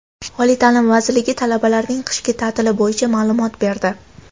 Oliy ta’lim vazirligi talabalarning qishki ta’tili bo‘yicha ma’lumot berdi.